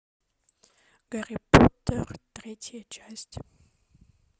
гарри поттер третья часть